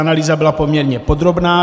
Analýza byla poměrně podrobná.